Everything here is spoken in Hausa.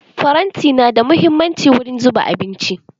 Faranti nada muhimmanci wurin zuba abinci.